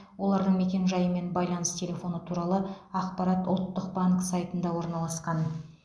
олардың мекенжайы мен байланыс телефоны туралы ақпарат ұлттық банк сайтында орналасқан